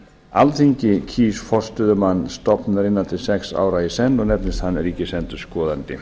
alþingi kýs forstöðumann stofnunarinnar til sex ára í senn og nefnist hann ríkisendurskoðandi